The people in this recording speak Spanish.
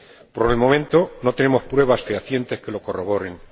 Por el momento, no tenemos pruebas fehacientes que lo corroboren.